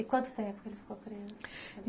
E quanto tempo ele ficou preso?